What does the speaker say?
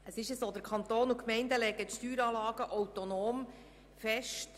Der Kanton und die Gemeinden legen die Steueranlagen autonom fest.